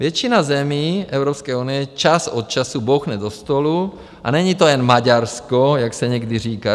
Většina zemí Evropské unie čas od času bouchne do stolu - a není to jen Maďarsko, jak se někdy říká.